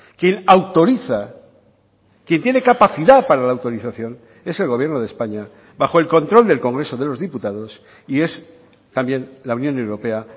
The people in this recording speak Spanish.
quien autoriza quien tiene capacidad para la autorización es el gobierno de españa bajo el control del congreso de los diputados y es también la unión europea